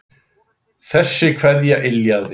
Þessi kveðja yljaði.